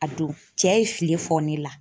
A don, cɛ ye fili fɔ ne la.